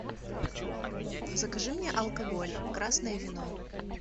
закажи мне алкоголь красное вино